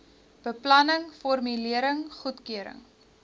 beplanning formulering goedkeuring